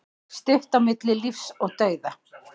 Stutt á milli lífs og dauða